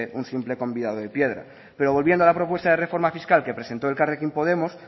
un simple convidado de piedra pero volviendo a la propuesta de reforma fiscal que presentó elkarrekin podemos